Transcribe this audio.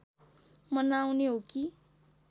मनाउने हो कि